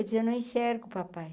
Eu dizia, eu não enxergo, papai.